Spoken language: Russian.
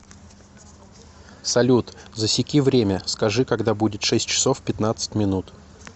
салют засеки время скажи когда будет шесть часов пятнадцать минут